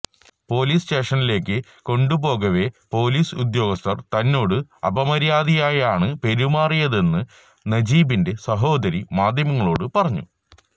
police സ്റ്റേഷനിലേക്ക് കൊണ്ടുപോകവെ police ഉദ്യോഗസ്ഥര് തന്നോട് അപമര്യാദയായാണ് പെരുമാറിയതെന്ന് നജീബിന്റെ സഹോദരി മാധ്യമങ്ങളോട് പറഞ്ഞു